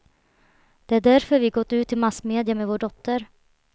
Det är därför vi gått ut i massmedia med vår dotter.